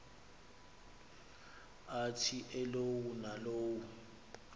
athi elowo nalowo